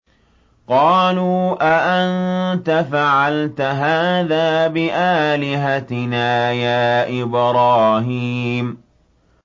قَالُوا أَأَنتَ فَعَلْتَ هَٰذَا بِآلِهَتِنَا يَا إِبْرَاهِيمُ